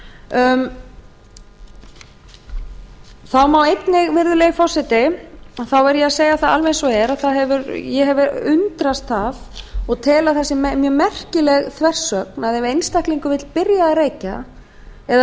þá verð ég virðulegi forseti einnig að segja alveg eins og er að ég hef undrast það og tel að það sé mjög merkileg þversögn að ef einstaklingur vill byrja að reykja eða